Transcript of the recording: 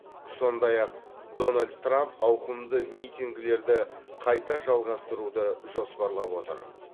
сондай ақ дональд трамп ауқымды митингілерді қайта жалғастыруды жоспарлап отыр